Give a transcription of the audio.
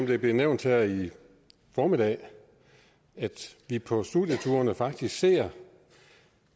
det blev nævnt her i formiddag at vi på studieturene faktisk ser